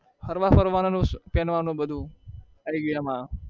હરવા ફરવાનો